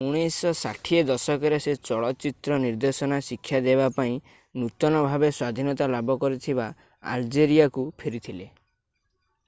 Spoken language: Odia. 1960 ଦଶକରେ ସେ ଚଳଚିତ୍ର ନିର୍ଦ୍ଦେଶନା ଶିକ୍ଷା ଦେବାପାଇଁ ନୂତନ-ଭାବେ-ସ୍ଵାଧୀନତା ଲାଭ କରିଥିବା ଆଲଜେରିଆକୁ ଫେରିଥିଲେ